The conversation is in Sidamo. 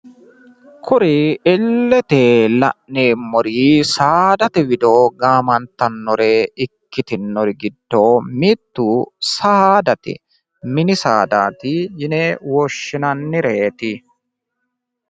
Kuri illete la'neemmori saadate wido gaamantannore ikkitinori giddo mittu saddate. mini saadaati yine woshshinannireeti..